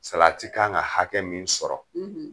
Salati k'an ka hakɛ min sɔrɔ;